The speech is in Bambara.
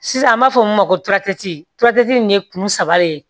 Sisan an b'a fɔ min ma ko turatɛti in ye kun saba de ye